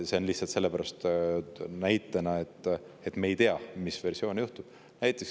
See ongi lihtsalt sellepärast toodud näitena, et me ei tea, milline versioon.